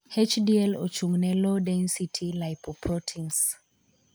'HDL' ochung' ne 'low density lipoproteins'.